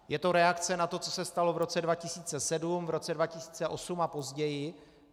Je to reakce na to, co se stalo v roce 2007, v roce 2008 a později.